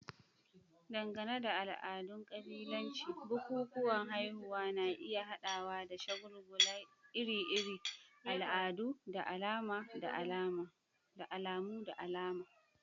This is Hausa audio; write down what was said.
Dangane da al'adun kabilanci, bukukuwan haihuwa na iya haɗawa da shagulgula iri-iri, al'adu, da alamu na alama.